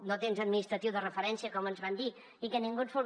no tens administratiu de referència com ens van dir i que ningú et resol